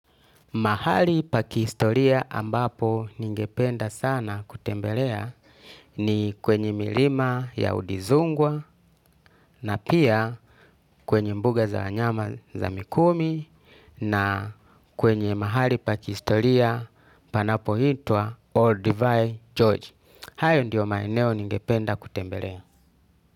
Mahali pakihistoria ambapo ningependa sana kutembelea ni kwenye milima ya udizungwa na pia kwenye mbuga za wanyama za mikumi na kwenye mahali pakihistoria panapo hitua Olduvai George. Hayo ndiyo maeneo ningependa kutembelea.